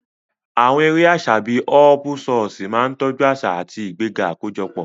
Àwọn eré àṣà bíi họ́ọ́púsọọ̀ṣì máa ń tọ́jú àṣà àti ìgbéga àkójọpọ̀.